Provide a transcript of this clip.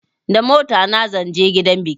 Da motana zan je gidan biki